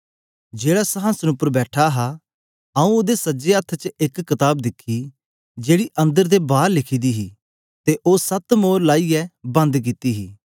जेहड़ा संहासन उपर बैठा हा आऊँ ओदे सज्जे हत्थ च एक कताब दिखी जेकी अन्दर ते बार लिखी दी हे ते ओ सत मोर लाईयै बंद कित्ती हे